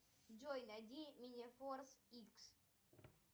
джой найди мини форс икс